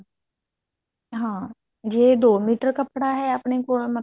ਹਾਂ ਜੇ ਦੋ ਮੀਟਰ ਕੱਪੜਾ ਹੈ ਆਪਣੇ ਕੋਲ